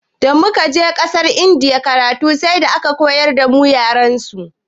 Damu kaje ƙasar indiya karatu sai da aka koyar damu yarensu.